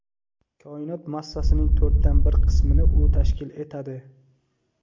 Koinot massasining to‘rtdan bir qismini u tashkil etadi.